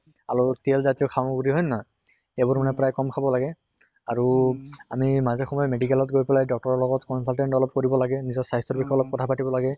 খালেও তেল জাতীয় সামগ্ৰি হয় নে নহয়, এইবোৰ মানে প্ৰায় কম খাব লাগে। আৰু আমি মাজে সময়ে medical ত গৈ পালে doctor ৰ লগত consultant অলপ কৰিব লাগে, নিজৰ স্বাস্থ্য়ৰ বিষয়ে অলপ কথা পাতিব লাগে